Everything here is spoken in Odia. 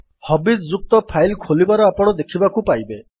ହବିଜ୍ ଯୁକ୍ତ ଫାଇଲ୍ ଖୋଲିବାର ଆପଣ ଦେଖିବାକୁ ପାଇବେ